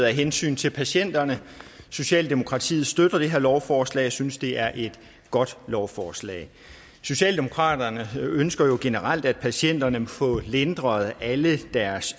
af hensyn til patienterne socialdemokratiet støtter det her lovforslag og synes det er et godt lovforslag socialdemokratiet ønsker jo generelt at patienterne får lindret alle deres